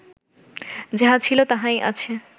যাহা ছিল, তাহাই আছে